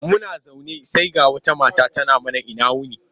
Muna zaune sai ga wata mata tana mana ina wuni.